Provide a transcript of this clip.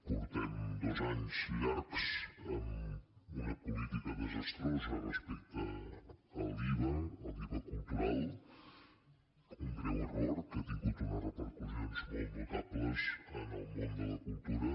portem dos anys llargs amb una política desastrosa respecte a l’iva a l’iva cultural un greu error que ha tingut unes repercussions molt notables en el món de la cultura